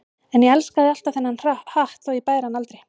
En ég elskaði alltaf þennan hatt þótt ég bæri hann aldrei.